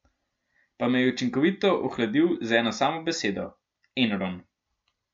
Pa me je učinkovito ohladil z eno samo besedo: "Enron".